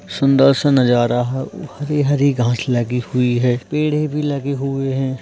सुंदर सा नजारा है हरी हरी घास लगी हुई है पेड़े भी लगा हुए हैं।